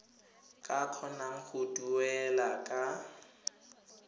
ka kgonang go duela ka